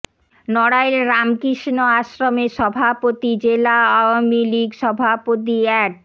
নড়াইল রামকৃষ্ণ আশ্রমের সভাপতি জেলা আওয়ামী লীগ সভাপতি অ্যাড